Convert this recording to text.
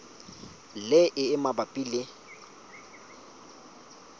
le e e mabapi le